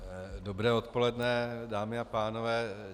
Dobré odpoledne, dámy a pánové.